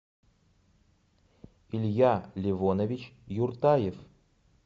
илья левонович юртаев